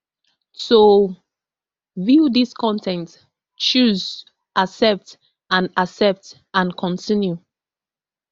to view dis con ten t choose accept and accept and continue